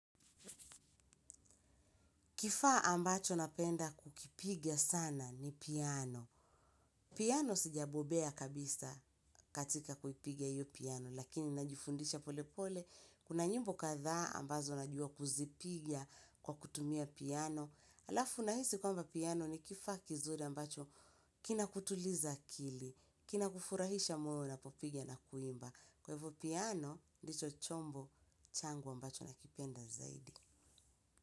Kifaa ambacho napenda kukipiga sana ni piano. Piano sijabobea kabisa katika kuipiga hiyo piano, lakini najifundisha polepole. Kuna nyimbo kadhaa ambazo najua kuzipiga kwa kutumia piano. Alafu nahisi kwamba piano ni kifaa kizuri ambacho kinakutuliza akili, kinakufurahisha moyo unapopiga na kuimba. Kwa hivyo piano, ndicho chombo changu ambacho nakipenda zaidi.